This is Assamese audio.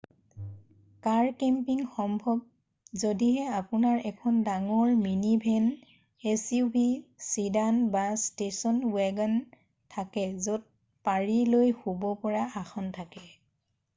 কাৰ কেম্পিং সম্ভৱ যদিহে আপোনাৰ এখন ডাঙৰ মিনিভেন suv চিডান বা ষ্টেছন ৱেগন থাকে য'ত পাৰি লৈ শুব পৰা আসন থাকে